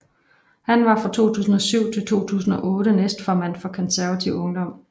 Han var fra 2007 til 2008 næstformand for Konservativ Ungdom